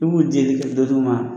I b'u deli ka dɔ d'u ma.